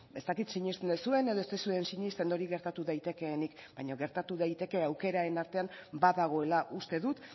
ez dakit sinesten duzuen edo ez duzuen sinesten hori gertatu daitekeenik baina gertatu daiteke aukeraren artean badagoela uste dut